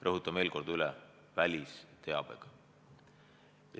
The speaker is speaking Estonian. Rõhutan veel kord üle: välisteabega.